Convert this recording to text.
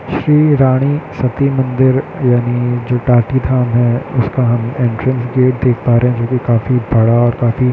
श्री रानी सती मंदिर जो टाटी धाम है उसका एंट्रेस गेट देख पा रहे है जो काफी बड़ा और काफी --